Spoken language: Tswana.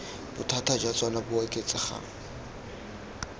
bothata jwa tsona bo oketsegang